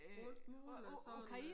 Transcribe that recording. Alt muligt og sådan noget der